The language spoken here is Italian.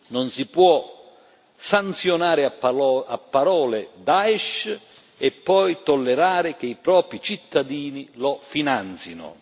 Non si può sanzionare a parole Daish e poi tollerare che i propri cittadini lo finanzino.